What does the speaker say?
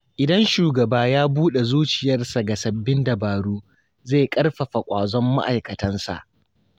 Idan shugaba ya buɗe zuciyarsa ga sabbin dabaru, zai ƙarfafa ƙwazon ma’aikatansa.